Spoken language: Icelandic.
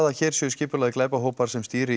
að hér séu skipulagðir glæpahópar sem stýri